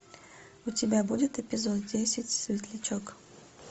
у тебя будет эпизод десять светлячок